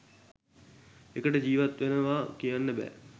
එකට ජීවත් වෙනවා කියන්න බෑ.